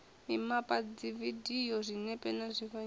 mimapa dzividio zwinepe na zwifanyiso